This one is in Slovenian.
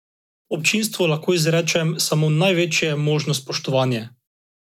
Občinstvu lahko izrečem samo največje možno spoštovanje.